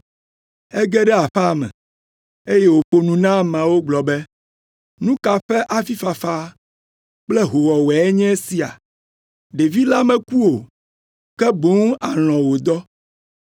Ege ɖe aƒea me, eye wòƒo nu na ameawo gblɔ be, “Nu ka ƒe avifafa kple hoowɔwɔe nye esia? Ɖevi la meku o, ke boŋ alɔ̃ wòdɔ!”